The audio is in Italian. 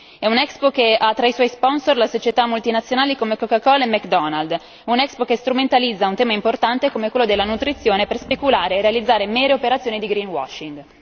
È un'Expo che ha tra i suoi sponsor società internazionali come Coca Cola e McDonald, un'Expo che strumentalizza un tema importante come quello della nutrizione per speculare e realizzare mere operazioni di greenwashing